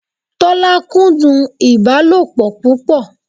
Tọ́lá kúndùn ìbálòpọ̀ púpọ̀